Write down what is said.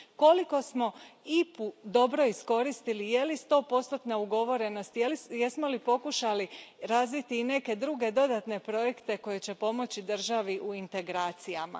Koliko smo IPU dobro iskoristili, je li stopostotna ugovorenost, jesmo li pokušali razviti i neke druge, dodatne projekte koji će pomoći državi u integracijama?